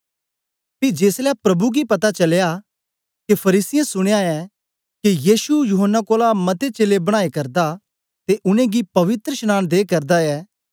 पी जेसलै प्रभु गी पता चलया के फरीसियें सुनया ऐ के यीशु यूहन्ना कोलां मते चेलें बनाए करदा ते उनेंगी पवित्रशनांन दे करदा ऐ